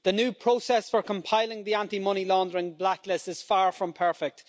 The new process for compiling the anti money laundering blacklist is far from perfect.